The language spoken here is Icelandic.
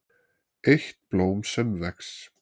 EITT BLÓM SEM VEX